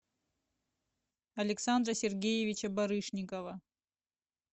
александра сергеевича барышникова